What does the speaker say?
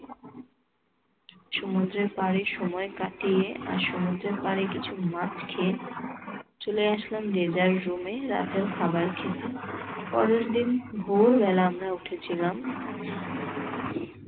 সমুদ্রের পাড়ে সময় কাটিয়ে আর সমুদ্রের পাড়ে কিছু মাছ খেয়ে চলে আসলাম যে যার রুমে রাতের খাবার খেতে। পরের দিন ভোরবেলা আমরা উঠেছিলাম